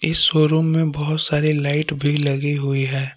इस शोरूम में बहुत सारी लाइट भी लगी हुई है।